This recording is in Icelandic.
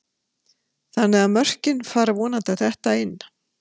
Þannig að mörkin fara vonandi að detta inn?